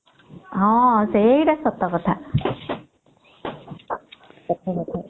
ହୁଁ ସେଟା ସତ କଥା ସତ କଥା